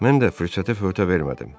Mən də fürsətə förtə vermədim.